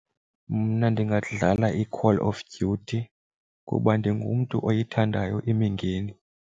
Mna ndingadlala iCall of Duty kuba ndingumntu oyithandayo imingeni.